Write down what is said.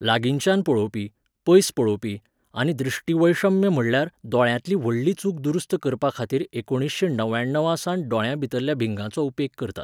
लागींच्यान पळोवपी, पयस पळोवपी, आनी दृष्टिवैषम्य, म्हटल्यार दोळ्यांतली व्हडली चूक दुरुस्त करपाखातीर एकोणिशें णव्याणवासावन दोळ्यांभितरल्या भिंगांचो उपेग करतात